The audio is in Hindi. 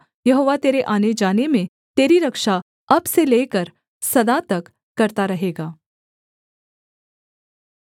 यहोवा तेरे आनेजाने में तेरी रक्षा अब से लेकर सदा तक करता रहेगा